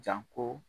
Janko